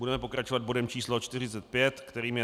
Budeme pokračovat bodem číslo 45, kterým je